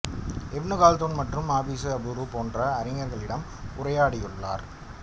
இப்னு Khaldun மற்றும் அபீசி அபுரு போன்ற அறிஞர்களிடம் உரையாடியுள்ளார்